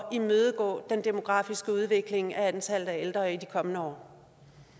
imødegå den demografiske udvikling antallet af ældre i de kommende år